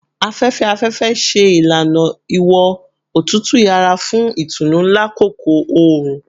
Afẹfẹ-afẹfẹ ṣe ilana iwọn otutu yara fun itunu lakoko oorun